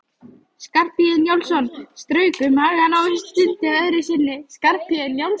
Skarphéðinn Njálsson strauk um magann og stundi öðru sinni.